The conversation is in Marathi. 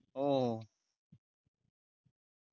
हो हो